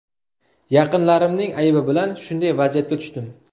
Yaqinlarimning aybi bilan shunday vaziyatga tushdim.